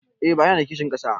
Eh buhari yana da kishin ƙasa